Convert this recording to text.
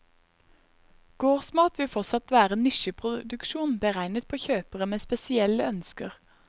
Gårdsmat vil fortsatt være nisjeproduksjon beregnet på kjøpere med spesielle ønsker.